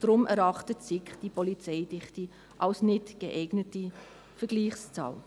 Deshalb erachtet die SiK die Polizeidichte als nicht geeignete Vergleichszahl.